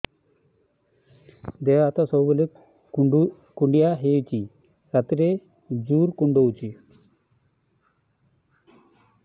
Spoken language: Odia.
ଦେହ ହାତ ସବୁବେଳେ କୁଣ୍ଡିଆ ହଉଚି ରାତିରେ ଜୁର୍ କୁଣ୍ଡଉଚି